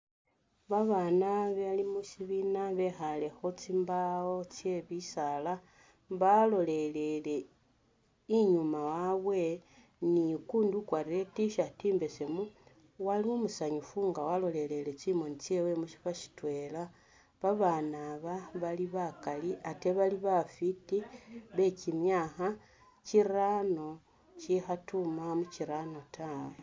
Ba bana bali mushibiina bekhale khutsimbaawo tse bisaala balolelele inyuma wabwe ni ukundi ukwarire i T'shirt imbesemu ali umusanyufu nga walolelele tsimoni tsewe mushifo shitwela ba bana aba bali bakali ate bafiti bekyimyakha kyiraano kyikhatuma mukyiraano ta.